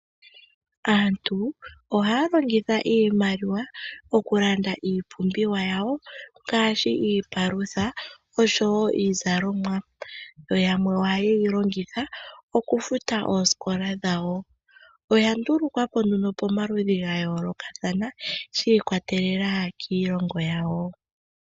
Aantu ohaya longitha iimaliwa okulanda iipumbiwa yawo ngaashi iipalutha osho woo iizalomwa yo yamwe ohaye yilongitha okufuta oosikola dhawo. Oya ndulukwapo nee momikalo dhayoolokathana shiikwatelela kiilongo yawo.